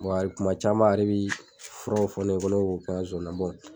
Wa hali kuma caman ale bɛ furaw fɔ ne ye k'o kɛ n ka zozani na